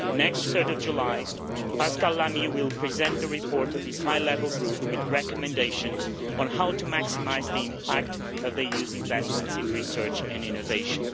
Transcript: On 3 July, Pascal Lamy will present a report by his High Level Group with recommendations on how to maximise the impact of using investments in research and innovation.